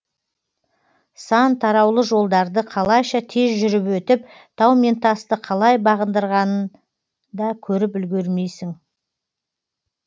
сан тараулы жолдарды қалайша тез жүріп өтіп тау мен тасты қалай бағындырғанын да көріп үлгермейсің